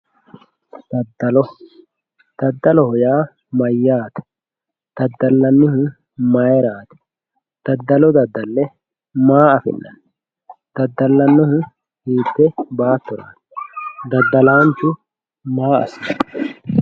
Daddalo, daddaloho yaa mayyate, daddalanihu mayra ,daddolo daddale maa affi'nanni, daddalanihu hiitte baattorati daddalahu maa assano.